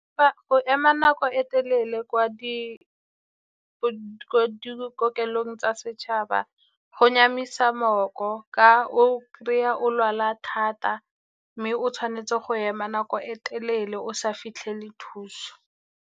Go ema nako e telele ko dikokelong tsa setšhaba go nyamisa moko, ka o kry-a o lwala thata mme o tshwanetse go ema nako e telele o sa fitlhele thuso.